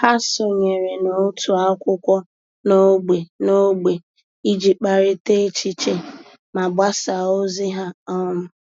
Há sònyèrè n’òtù ákwụ́kwọ́ n’ógbè n’ógbè iji kparịta echiche ma gbasáá ózị́ há. um